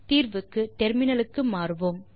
தீர்வுக்கு டெர்மினலுக்கு மாறுவோம்